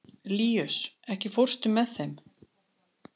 Líus, ekki fórstu með þeim?